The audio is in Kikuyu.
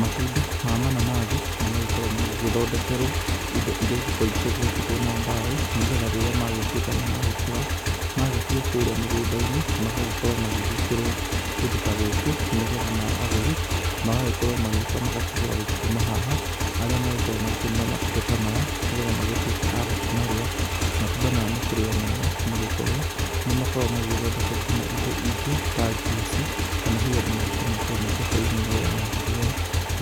Matunda ma mananathi, nĩmagĩkoragwo magĩgĩthondekerwo indo iria igĩkoragwo cigĩakĩtwo na mbaũ, nĩgetha rĩrĩa magĩtuĩka nĩmagĩkũra magĩtuo kũrĩa mĩgũnda-inĩ magagĩkorwo magĩgĩkĩrwo kũndũ ta gũkũ, nĩgetha nao agũri magagĩkorwo magĩũka magakĩgũra gũkiuma haha, arĩa magĩkoragwo makĩũnũra matunda ta maya, nĩgetha magĩtuĩke a gũkĩmarĩa. Matunda maya makĩrĩ o mega nĩgũkorwo nĩmakoragwo magĩgĩthondeka nginya indo ingĩ ta njuici, kana hihi andũ magakĩmekĩra mĩkebe-inĩ, nĩgetha magakĩrĩa